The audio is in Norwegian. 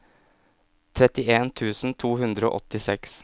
trettien tusen to hundre og åttiseks